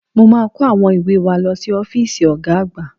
Mo máa kó àwọn ìwé wa lọ sí ọ́fíìsì Ọ̀ga àgbà